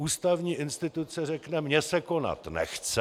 Ústavní instituce řekne: Mně se konat nechce.